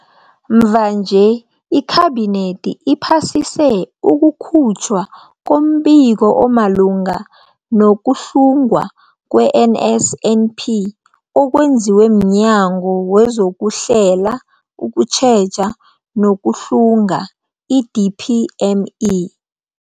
Mvanje, iKhabinethi iphasise ukukhutjhwa kombiko omalungana nokuhlungwa kwe-NSNP okwenziwe mNyango wezokuHlela, ukuTjheja nokuHlunga, i-DPME.